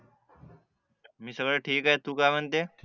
मी सगळं ठीक हे तू काय म्हणते